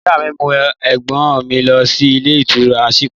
Ìyá mí mú ẹ̀gbọ́n mi lọ sí ìlé ìtura ṣípà